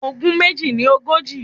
Ogún méjì ní ogójì.